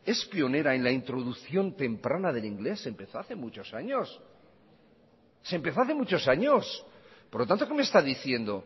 es pionera en la introducción temprana del inglés empezó hace muchos años se empezó hace muchos años por lo tanto qué me está diciendo